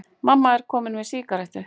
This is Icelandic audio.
Mamma er komin með sígarettu!